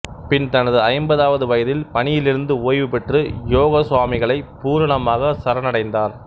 பின் தனது ஐம்பதாவது வயதில் பணியிலிருந்து ஓய்வு பெற்று யோகசுவாமிகளைப் பூரணமாகச் சரணடைந்தார்